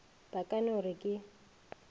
ba ka no re ke